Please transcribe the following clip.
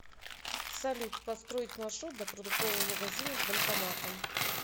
салют построить маршрут до продуктового магазина с банкоматом